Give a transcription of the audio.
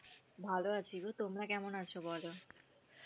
ভাল আছি গো। তোমরা কেমন আছো? বল।